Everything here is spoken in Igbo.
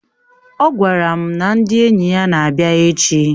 Ọ gwara m na ndị enyi ya na-abịa echi